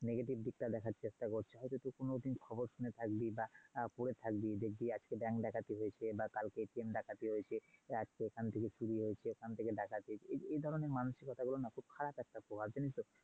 Negative দিক টা দেখার চেষ্টা করছে। হয়তো তুই কোনোদিন খবর শুনে থাকবি বা পরে থাকবি দেখবি আজ bank ডাকাতি হয়েছে বা কালকে train ডাকাতি হয়েছে । আজ কে এখান থেকে চুরি হয়েছে । ওখান থেকে ডাকাতি হয়েছে। এই ধরণের মানুসিকতা গুলো না খুব খারাপ একটা প্রভাব।